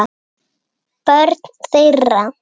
Börn þeirra